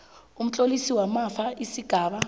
kumtlolisi wamafa isigaba